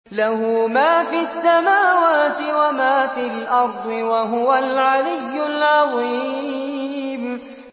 لَهُ مَا فِي السَّمَاوَاتِ وَمَا فِي الْأَرْضِ ۖ وَهُوَ الْعَلِيُّ الْعَظِيمُ